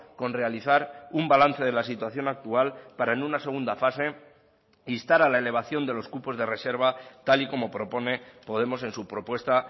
con realizar un balance de las situación actual para en una segunda fase instar a la elevación de los cupos de reserva tal y como propone podemos en su propuesta